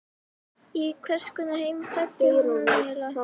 Í hvers konar heim fæddi hún hann eiginlega?